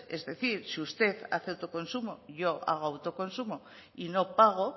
es decir si usted hace autoconsumo yo hago autoconsumo y no pago